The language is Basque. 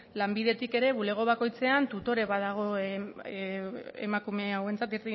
lanbidetik ere bulego bakoitzean tutore bat dago emakume hauentzat